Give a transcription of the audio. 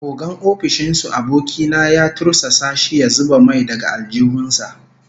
Ogan ofishin su aboki na ya tursasa shi ya zuba mai daga aljihun sa